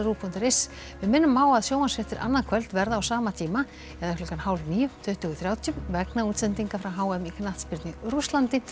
punktur is við minnum á að sjónvarpsfréttir annað kvöld verða á sama tíma eða klukkan hálfníu tuttugu þrjátíu vegna útsendinga frá h m í knattspyrnu í Rússlandi